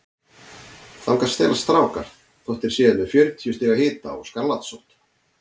Þangað stelast strákar þótt þeir séu með fjörutíu stiga hita og skarlatssótt.